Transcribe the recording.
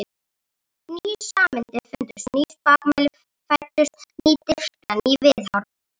Ný sannindi fundust, ný spakmæli fæddust, ný dirfska, ný viðhorf.